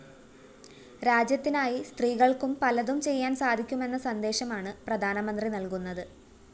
രാജ്യത്തിനായി സ്ത്രീകള്‍ക്കും പലതും ചെയ്യാന്‍ സാധിക്കുമെന്ന സന്ദേശമാണ് പ്രധാനമന്ത്രി നല്‍കുന്നത്